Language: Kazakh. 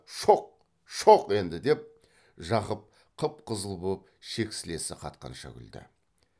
шоқ шоқ енді деп жақып қып қызыл боп шексілесі қатқанша күлді